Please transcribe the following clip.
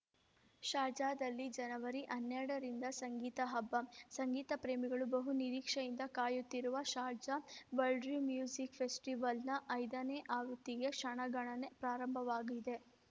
ಶಾರ್ಜಾದಲ್ಲಿ ಜನವರಿ ಹನ್ನೆರಡರಿಂದ ಸಂಗೀತ ಹಬ್ಬ ಸಂಗೀತ ಪ್ರೇಮಿಗಳು ಬಹು ನಿರೀಕ್ಷೆಯಿಂದ ಕಾಯುತ್ತಿರುವ ಶಾರ್ಜಾ ವಲ್ಡ್‌ರಿಂ ಮ್ಯೂಸಿಕ್‌ ಫೆಸ್ಟಿವಲ್‌ ನ ಐದನೇ ಆವೃತಿಗೆ ಕ್ಷಣಗಣನೆ ಪ್ರಾರಂಭವಾಗಿದೆ